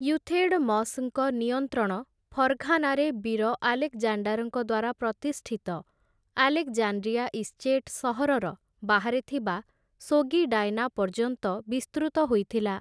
Euthydemus ଙ୍କ ନିୟନ୍ତ୍ରଣ ଫର୍ଘାନାରେ ବୀର ଆଲେକ୍‍ଜାଣ୍ଡାର୍‍ଙ୍କ ଦ୍ୱାରା ପ୍ରତିଷ୍ଠିତ ଆଲେକ୍‌ଜାଣ୍ଡ୍ରିଆ ଇଶ୍ଚୀଟ୍ ସହରର ବାହାରେ ଥିବା ସୋଗିଡାଏନା ପର୍ଯ୍ୟନ୍ତ ବିସ୍ତୃତ ହୋଇଥିଲା ।